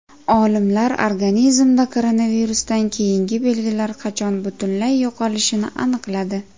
Olimlar organizmda koronavirusdan keyingi belgilar qachon butunlay yo‘qolishini aniqladi.